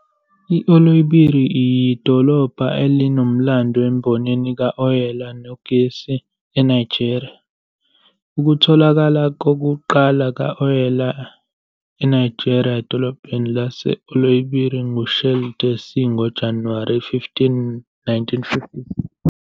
I-Oloibiri yidolobha elinomlando embonini kawoyela negesi eNigeria. Ukutholakala kokuqala kukawoyela eNigeria edolobheni lase-Oloibiri nguShell Darcy ngoJanuwari 15, 1956.